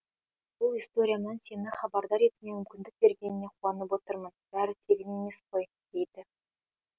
бұл историямнан сені хабардар етуіме мүмкіндік бергеніңе қуанып отырмын бәрі тегін емес қой дейді